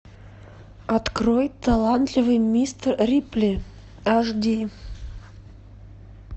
открой талантливый мистер рипли аш ди